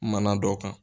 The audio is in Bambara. Mana dɔ kan